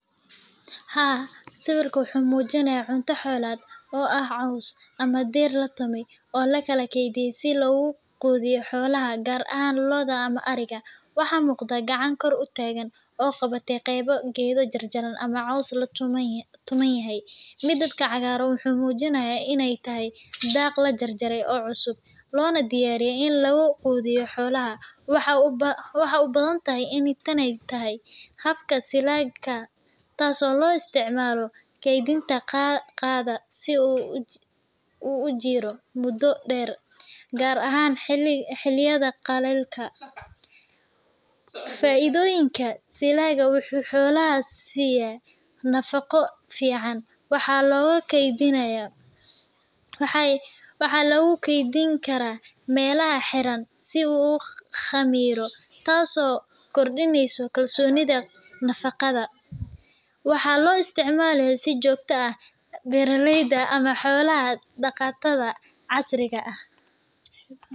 Haa, sawirkan wuxuu muujinayaa cunto xoolaad oo ah caws ama dhir la tumay oo la kaydiyay si loogu quudiyo xoolaha, gaar ahaan lo’da ama ariga. Waxa muuqda. Gacan kor u taagan oo qabatay qaybo geedo jarjaran ama caws la tuman yahay. Midabka cagaaran wuxuu muujinayaa in ay tahay daaq la jarjaray oo cusub, loona diyaariyay in lagu quudiyo xoolaha. Waxay u badan tahay in tani tahay habka silaga, taasoo loo isticmaalo kaydinta daaqa si uu u jiro muddo dheer, gaar ahaan xilliyada qallaylka. Faa’iidooyinka, Silaga wuxuu xoolaha siiyaa nafaqo fiican. Waxaa lagu kaydin karaa meelaha xiran si uu u khamiro, taasoo kordhisa kalsoonida nafaqada. Waxaa loo isticmaalaa si joogto ah beeraleyda ama xoolo-dhaqatada casriga ah.